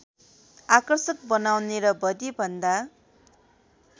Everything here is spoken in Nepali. आकर्षक बनाउने र बढिभन्दा